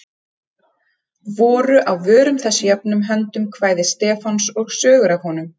Voru á vörum þess jöfnum höndum kvæði Stefáns og sögur af honum.